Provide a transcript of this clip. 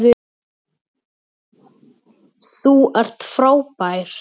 Þú ert frábær.